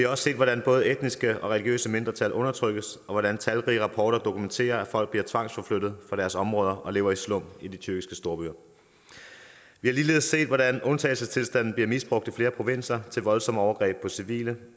også set hvordan både etniske og religiøse mindretal undertrykkes og hvordan talrige rapporter dokumenterer at folk bliver tvangsforflyttet fra deres områder og lever i slum i de tyrkiske storbyer vi har ligeledes set hvordan undtagelsestilstanden bliver misbrugt i flere provinser til voldsomme overgreb på civile